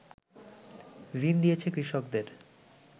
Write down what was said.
ঋণ দিয়েছে কৃষকদের